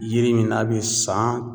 Yiri min n'a be san